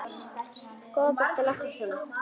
Góða besta láttu ekki svona!